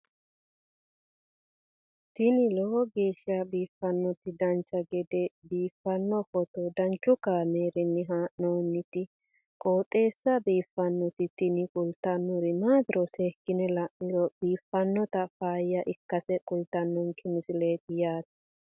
tini lowo geeshsha biiffannoti dancha gede biiffanno footo danchu kaameerinni haa'noonniti qooxeessa biiffannoti tini kultannori maatiro seekkine la'niro biiffannota faayya ikkase kultannoke misileeti yaate